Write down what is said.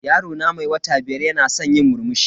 Yaro na mai wata biyar yana san yi murmushi.